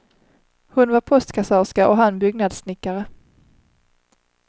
Hon var postkassörska och han byggnadssnickare.